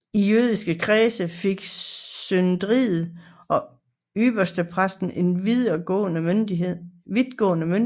I jødernes kreds fik synedriet og ypperstepræsten en vidtgående myndighed